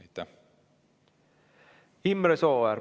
Imre Sooäär, palun!